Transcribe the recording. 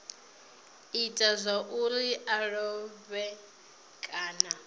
ita zwauri a lovhe kana